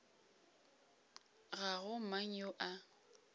ga go mang yo a